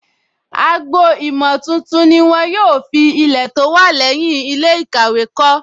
Agbo-ìmọ̀ tuntun ni wọ́n yóò fi Ilẹ̀ tó wà lẹ́yìn ilé ìkàwé kọ́